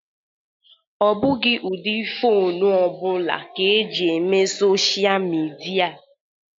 Ọ bụghị ụdị fonu ọ bụla ka eji eme sochịa midia.